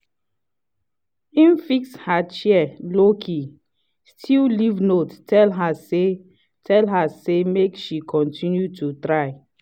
im fix her chair lowkey still leave note tell her say tell her say make she continue to try.